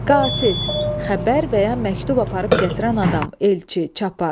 Qasid, xəbər və ya məktub aparıb gətirən adam, elçi, çapar.